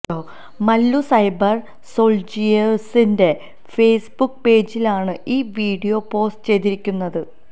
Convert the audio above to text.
Mallu cyber സോൾജിയേർസിന്റ Facebook പേജിലാണ് ഈ വീഡിയോ പോസ്റ്റു ചെയ്തിരിക്കുന്നത്